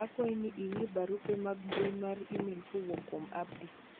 akwayi ni ing'i barupe mag mbui mar email kowuok kuom Abdi